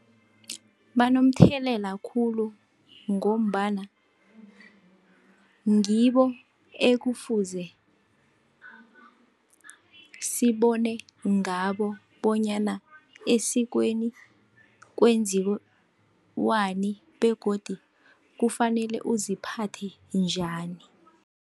Banomthelela khulu, ngombana ngibo ekufuze sibone ngabo bonyana esikweni kwenziwani begodu kufanele uziphathe njani.